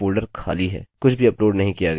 कुछ भी अपलोड नहीं किया गया है